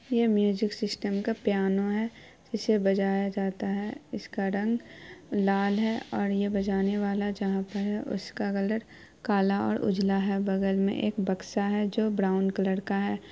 ये music system का piano है इसे बजाया जाता है इसका रंग लाल है और ये बजाने वाला जहा पर है उसका कलर काला और उजला हैबगल मे एक बकशा है जो ब्राउन कलर का है ।